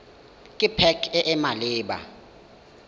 ke pac e e maleba